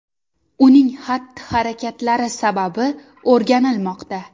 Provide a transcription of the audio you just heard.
Uning xatti-harakatlari sababi o‘rganilmoqda.